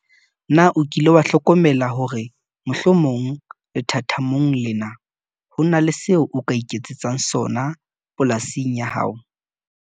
NA O KILE WA NAHANA HORE MOHLOMONG LETHATHAMONG LENA HO NA LE SEO O KA IKETSETSANG SONA POLASING YA HAO?